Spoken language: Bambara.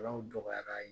Alaw dɔgɔyara